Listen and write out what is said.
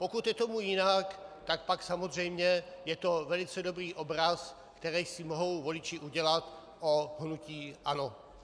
Pokud je tomu jinak, tak pak samozřejmě je to velice dobrý obraz, který si mohou voliči udělat o hnutí ANO.